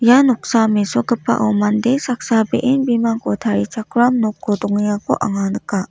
ia noksa mesokgipao mande saksa be·en bimangko tarichakram noko dongengako anga nika.